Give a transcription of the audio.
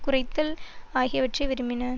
குறைத்தல் ஆகியவற்றிற்கு விரும்புகின்றன